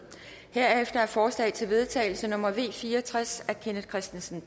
herefter er forslag til vedtagelse nummer v fire og tres af kenneth kristensen